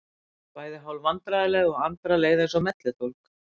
Þau voru bæði hálf vandræðaleg og Andra leið eins og melludólg.